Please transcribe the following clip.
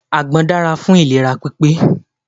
Àgbọn dára fún ìlera pípé.